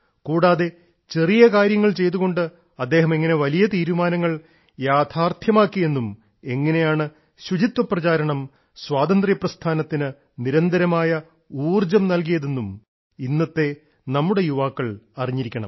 കൂടാതെ ചെറിയ കാര്യങ്ങൾ ചെയ്തുകൊണ്ട് അദ്ദേഹം എങ്ങനെ വലിയ തീരുമാനങ്ങൾ യാഥാർഥ്യമാക്കിയെന്നും എങ്ങനെയാണ് ശുചിത്വ പ്രചാരണം സ്വാതന്ത്ര്യ പ്രസ്ഥാനത്തിന് നിരന്തരമായ ഊർജ്ജം നൽകിയതെന്നും ഇന്നത്തെ നമ്മുടെ യുവാക്കൾ അറിഞ്ഞിരിക്കണം